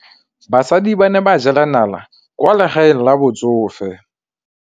Basadi ba ne ba jela nala kwaa legaeng la batsofe.